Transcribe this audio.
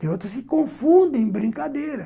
Tem outras que confundem brincadeira.